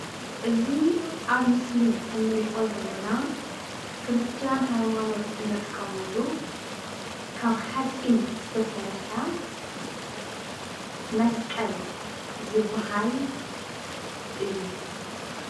እዚ አብ ምስሊ እንሪኦ ዘለና ክርስትያን ሃይማኖት እንጥቀመሉ ካብ ሓፂን ዝተሰርሐ መስቀል ዝበሃል እዩ።